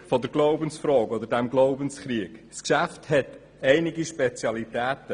Unabhängig von der Glaubensfrage oder von diesem Glaubenskrieg enthält das Geschäft einige Spezialitäten.